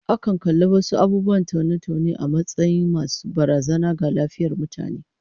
Akan kalli wasu abubuwan taune-taune a matsayin masu barazana ga lafiyar mutane